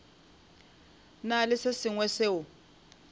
na le se sengwe seo